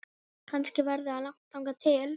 Kannski verður langt þangað til